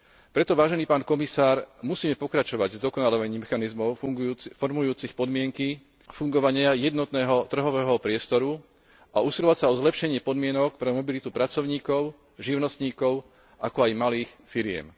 Preto, vážený pán komisár, musíme pokračovať v zdokonaľovaní mechanizmov formujúcich podmienky fungovania jednotného trhového priestoru a usilovať sa o zlepšenie podmienok pre mobilitu pracovníkov, živnostníkov, ako aj malých firiem.